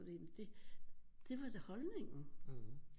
Jamen det det var da holdningen